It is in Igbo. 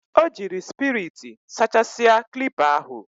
O jiri spiriti sachasia klipa ahu.